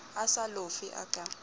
a sa lofe a ka